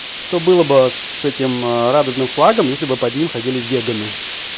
что было бы с этим радужным флагом если бы под ним ходили веганы